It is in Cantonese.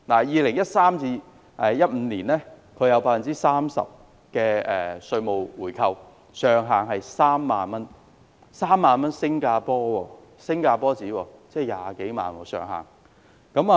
2013年至2015年，新加坡有 30% 的稅務回扣，上限是3萬新加坡元，即20多萬港元。